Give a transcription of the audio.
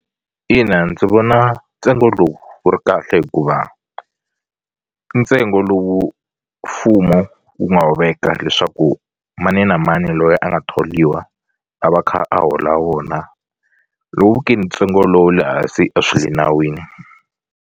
Ina ndzi vona ntsengo lowu wu ri kahle hikuva i ntsengo lowu mfumo wu nga wu veka leswaku mani na mani loyi a nga tholiwa a va kha a hola wona ntsengo lo we le hansi a swi le nawini.